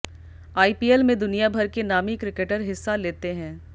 IPL में दुनियाभर के नामी क्रिकेटर हिस्सा लेते हैं